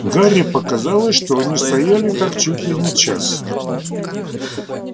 гарри показалось что они стояли так чуть ли не час